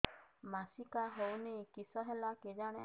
ମାସିକା ହଉନି କିଶ ହେଲା କେଜାଣି